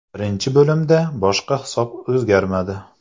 Birinchi bo‘limda boshqa hisob o‘zgarmadi.